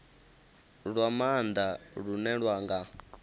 lwa maanda lune lwa nga